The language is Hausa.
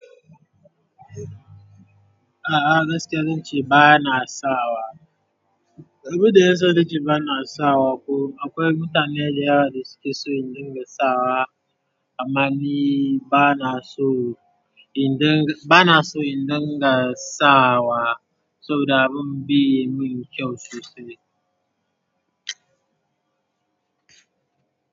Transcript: A'a gaskiya zan ce ba na sawa. Abin da ya sa nace ba na sawa ko akwai mutanen da yawa da su ke so in dinga sawa amma ni ba na so in dinga, ba na so in dinga sawa saboda abin be min kyau sosai.